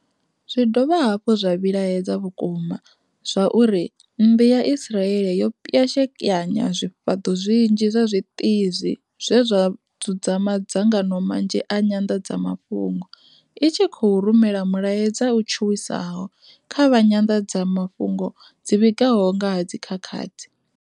Zwi dovha hafhu zwa vhilahedza vhukuma zwa uri mmbi ya Israeli yo pwashekanya zwi fhaḓo zwinzhi zwa zwitizi zwe zwa dzudza madza ngano manzhi a nyanḓa dzamafhungo, i tshi khou rumela mulaedza u tshuwisa ho kha vha nyanḓadzama fhungo dzi vhigaho nga ha dzi khakhathi.